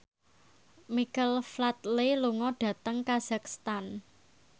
Michael Flatley lunga dhateng kazakhstan